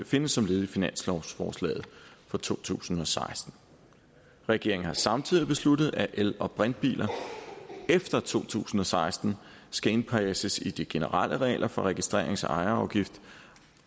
findes som led i finanslovsforslaget for to tusind og seksten regeringen har samtidig besluttet at el og brintbiler efter to tusind og seksten skal indpasses i de generelle regler for registrerings og ejerafgift